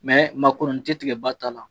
ma kɔnɔni ti tigɛ ba ta la.